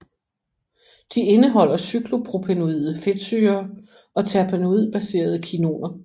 De indeholder cyklopropenoide fedtsyrer og terpenoidbaserede kinoner